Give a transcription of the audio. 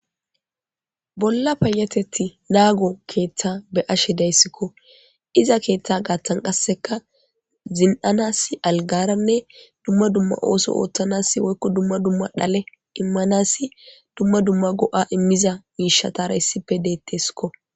bolla payatetti naago keeththa be7ashe dayssikko iza keeththa gaattan qasseka zina7anas aligaranne dumma dumma oosso ooththanasi woykko dumma dumma dhale immanassi dumma dumma go7a immiza miishatara issipe deetteskko